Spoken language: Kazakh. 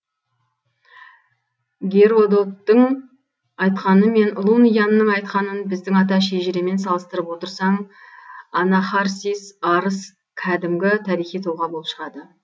геродоттың айтқаны мен лун янның айтқанын біздің ата шежіремен салыстырып отырсаң анахарсис арыс кәдімгі тарихи тұлға болып шығады